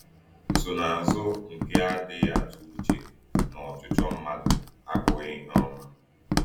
Nsonaazụ nke adịghị atụ uche na ọchịchọ mmadụ abụghị ihe ọma.